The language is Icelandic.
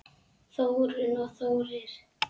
Þórunn og Þórir.